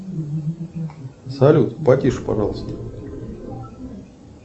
салют потише пожалуйста